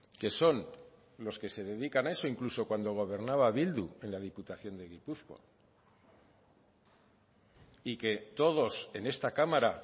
que son los que se dedican a eso incluso cuando gobernaba bildu en la diputación de gipuzkoa y que todos en esta cámara